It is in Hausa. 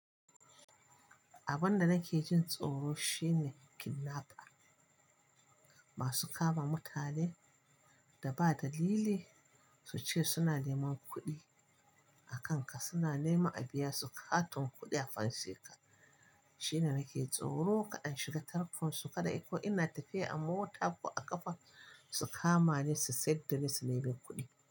Abin da nake jin tsoro shine kidnapper. Masu kama mutane da ba dalili su ce suna neman kuɗi a kan ka, suna nema a biya su katon kuɗi a fansheka. Shine nake tsoro kaɗan shiga tarkon su kaɗai ko ina tafiya a mota ko a ƙafa su kama ni su sayadda ni su nemi kuɗi.